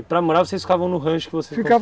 E para morar vocês ficavam no rancho que vocês ficava